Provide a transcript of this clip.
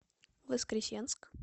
воскресенск